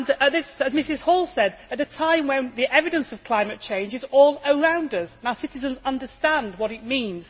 As Mrs Hall said, at a time when the evidence of climate change is all around us, our citizens understand what it means.